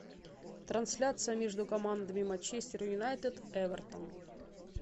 трансляция между командами манчестер юнайтед эвертон